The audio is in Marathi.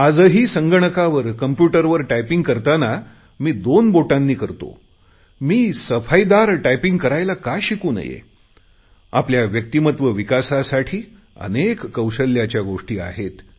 आजही संगणकावर कंप्युटरवर टायपिंग करताना मी दोन बोटांनी करतो मी सफाईदार टायपिंग करायला का शिकू नये आपल्या व्यक्तिमत्व विकासासाठी अनेक कौशल्याचा गोष्टी आहेत